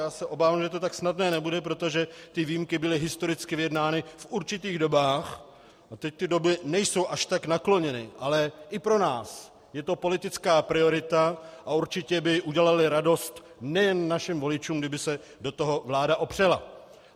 Já se obávám, že to tak snadné nebude, protože ty výjimky byly historicky vyjednány v určitých dobách a teď ty doby nejsou až tak nakloněny, ale i pro nás je to politická priorita a určitě by udělaly radost nejen našim voličům, kdyby se do toho vláda opřela.